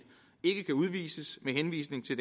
ikke kan udvises med henvisning til